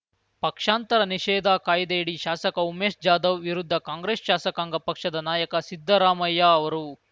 ಪಕ್ಷಾಂತರ ನಿಷೇಧ ಕಾಯ್ದೆಯಡಿ ಶಾಸಕ ಉಮೇಶ್ ಜಾಧವ್ ವಿರುದ್ಧ ಕಾಂಗ್ರೆಸ್ ಶಾಸಕಾಂಗ ಪಕ್ಷದ ನಾಯಕ ಸಿದ್ದರಾಮಯ್ಯ ಅವರು